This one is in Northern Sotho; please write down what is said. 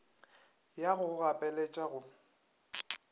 ya go go gapeletša go